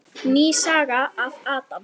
Ný saga af Adam.